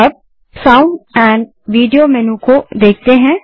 अब हम sound and video menu को देखते हैं